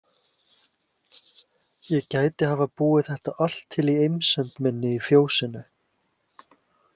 Ég gæti hafa búið þetta allt til í einsemd minni í fjósinu.